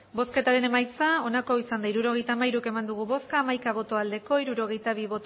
hirurogeita hamairu eman dugu bozka hamaika bai hirurogeita bi